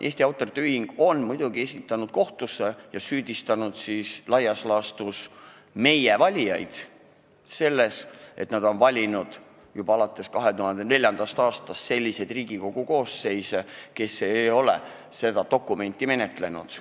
Eesti Autorite Ühing on muidugi esitanud asju kohtusse ja süüdistanud laias laastus meie valijaid selles, et nad on valinud juba alates 2004. aastast selliseid Riigikogu koosseise, kes ei ole seda dokumenti menetlenud.